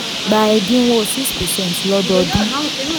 gba ẹdínwó six percent lọ́dọọdún.